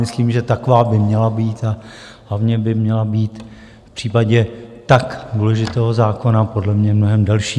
Myslím, že taková by měla být, a hlavně by měla být v případě tak důležitého zákona podle mě mnohem delší.